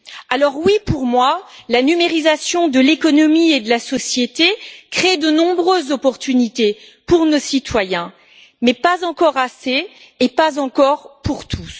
Alors oui, pour moi, la numérisation de l'économie et de la société crée de nombreuses opportunités pour nos citoyens, mais pas encore assez et pas encore pour tous.